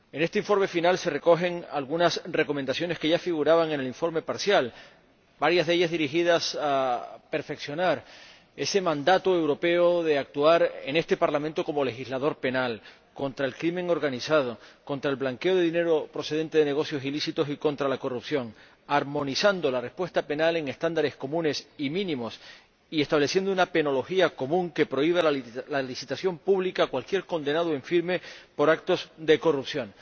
En este informe final se recogen algunas recomendaciones que ya figuraban en el informe parcial, varias de ellas dirigidas a perfeccionar el mandato europeo para que este Parlamento actúe como legislador penal contra la delincuencia organizada, contra el blanqueo de dinero procedente de negocios ilícitos y contra la corrupción, armonizando la respuesta penal en estándares comunes y mínimos y estableciendo una penología común que prohíba la licitación pública a cualquier condenado en firme por actos de corrupción.